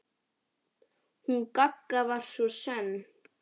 Hún Gagga var svo sönn.